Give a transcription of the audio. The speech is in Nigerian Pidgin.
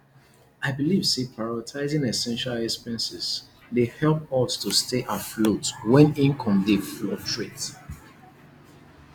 i believe say prioritizing essential expenses dey help us to stay afloat when income dey fluctuate